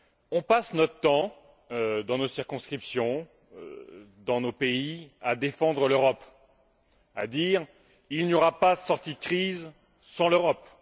On passe notre temps, dans nos circonscriptions, dans nos pays, à défendre l'Europe, à dire Il n'y aura pas de sortie de crise sans l'Europe!.